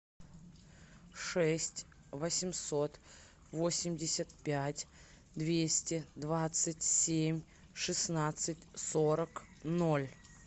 шесть восемьсот восемьдесят пять двести двадцать семь шестнадцать сорок ноль